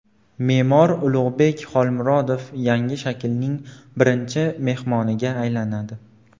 Me’mor Ulug‘bek Xolmurodov yangi shaklning birinchi mehmoniga aylanadi.